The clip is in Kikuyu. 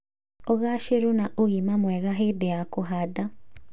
ũgaacĩru na ũgima mwega hĩndĩ ya kũhanda.